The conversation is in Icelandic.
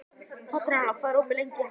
Petronella, hvað er opið lengi í HÍ?